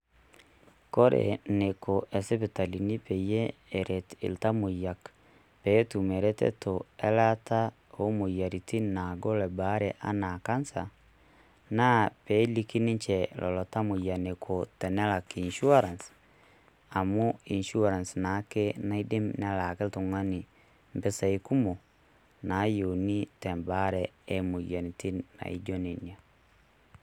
Kore eneiko isipitalini pee eret iltamoyia pee etum eretoto elaata oo moyiaritin naagol ebaare enaa cancer naa peeliki ninche lelo tamoyia eneiko tenalak insurance amu insuarance naake naidim nelaaki naidim nelaaki oltung'ani empisai kumok naayieuni empisai kumok naijio Nena.